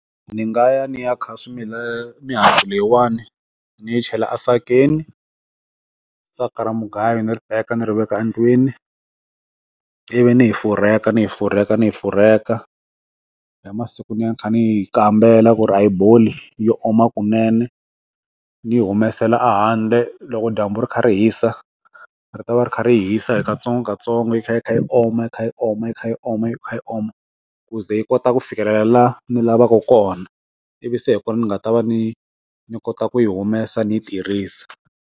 Ni nga ya ni ya kha mihandzu leyiwani ni yi chela asakeni saka ra mugayo ni ri teka ni ri veka endlwini i vi ni yi furheka ni yi furheka ni yi furheka eka hi masiku ni va ni kha ni yi kambela ku ri i boli yi oma kunene ni yi humesela handle loko dyambu ri kha ri hisa ri ta va ri kha ri yi hisa hi katsongo katsongo yi kha yi kha yi oma yi kha yi oma yi kha yi oma yi kha yi oma ku ze yi kota ku fikelela ni lavaka kona i vi se hi ku ni nga ta va ni ni kota ku yi humesa ni tirhisa.